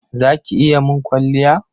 Za ki iya mun kwalliya?